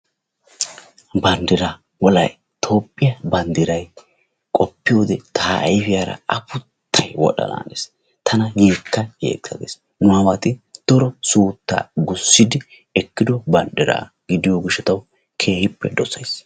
Banddiraa toophiya banddiray qoppiyoode ta ayifiyara afuttay wodhdhanaanes tana yeekka yeekka gees nu aawati daro suuttaa gussidi ekkido banddiraa gidiyo gishshatawu keehippe dosays.